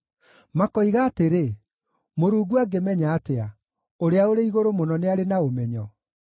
Makoiga atĩrĩ, “Mũrungu angĩmenya atĩa? Ũrĩa-ũrĩ-Igũrũ-Mũno nĩarĩ na ũmenyo?”